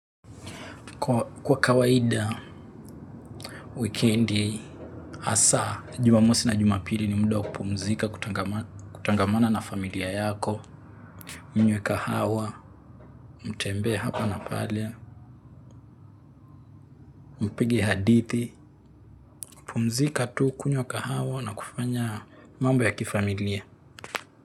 Kwa kawaida, weekendi, hasa, Jumamosi na jumapiri ni muda wa kupumzika kutangamana na familia yako, mnywe kahawa, mtembee hapa na pale, mpige hadithi, kupumzika tu, kunywa kahawa na kufanya mambo ya kifamilia.